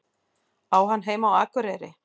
Á hann heima á Akureyri?